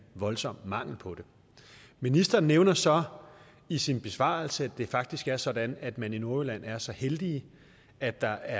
voldsom mangel på det ministeren nævner så i sin besvarelse at det faktisk er sådan at man i nordjylland er så heldig at der